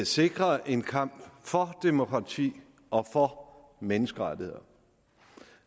sikre en kamp for demokrati og for menneskerettigheder